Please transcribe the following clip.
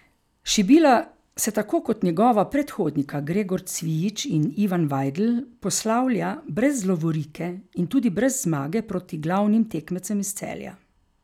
Šibila se tako kot njegova predhodnika Gregor Cvijič in Ivan Vajdl poslavlja brez lovorike in tudi brez zmage proti glavnim tekmecem iz Celja.